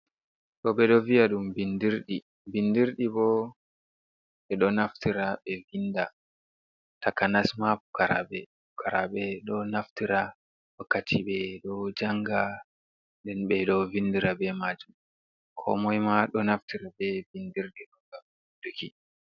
Ɗo ɓe ɗo viya ɗum binndirɗi, binndirɗi bo, ɓe ɗo naftira ɓe vinnda takanas ma pukaraaɓe. Pukaraaɓe ɗo naftira wakkati ɓe ɗo jannga, nden ɓe ɗo vinndira be maajum. Koomoy ma, ɗo naftira be binndirɗi ɗokam, ngam vinnduki.